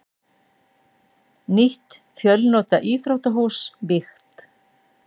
Nýtt fjölnota íþróttahús vígt